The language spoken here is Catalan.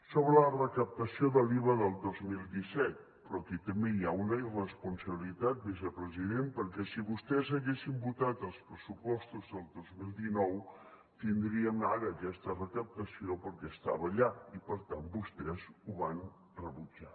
sobre la recaptació de l’iva del dos mil disset però aquí també hi ha una irresponsabilitat vicepresident perquè si vostès haguessin votat els pressupostos del dos mil dinou tindríem ara aquesta recaptació perquè estava allà i per tant vostès ho van rebutjar